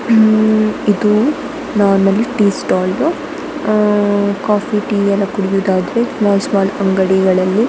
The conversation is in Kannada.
ಇನ್ನು ಇದು tea stall um coffee tea ಎಲ್ಲ ಕುಡಿಯೋದಾದ್ರೆ ಸ್ಮಾಲ್ ಸ್ಮಾಲ್ ಅಂಗಡಿಗಳಲ್ಲಿ .